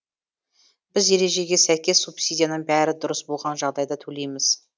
біз ережеге сәйкес субсидияны бәрі дұрыс болған жағдайда төлейміз